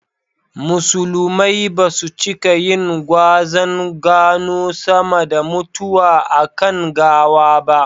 Musulumai basu cika yin gwazan gano sama da mutuwa a kan gawa ba